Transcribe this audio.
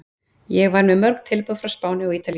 Ég var með mörg tilboð frá Spáni og Ítalíu.